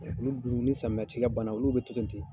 Olu dun ni samiya ci kɛ bana olu bɛ kilen ten.